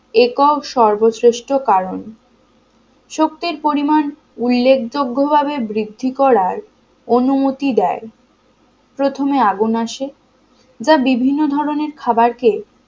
একক সর্বশ্রেষ্ঠ কারণ শক্তির পরিমাণ উল্লেখযোগ্যভাবে বৃদ্ধি করার অনুমতি দেয় প্রথমে আগুন আসে যা বিভিন্ন ধরনের খাবারকে